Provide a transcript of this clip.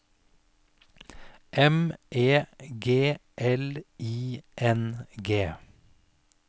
M E G L I N G